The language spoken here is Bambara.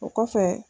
O kɔfɛ